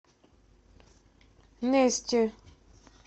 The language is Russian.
нести